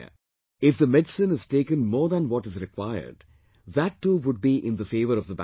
If the medicine is taken more than what is required, that too would be in the favour of the bacteria